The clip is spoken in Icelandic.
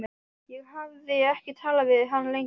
Ég hafði ekki talað við hann lengi.